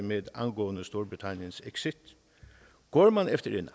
med angående storbritanniens exit går man efter en